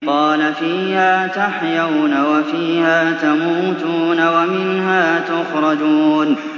قَالَ فِيهَا تَحْيَوْنَ وَفِيهَا تَمُوتُونَ وَمِنْهَا تُخْرَجُونَ